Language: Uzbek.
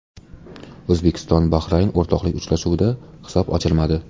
O‘zbekiston Bahrayn o‘rtoqlik uchrashuvida hisob ochilmadi.